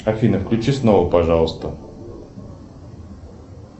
афина включи снова пожалуйста